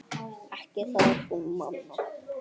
Ekki það hún man.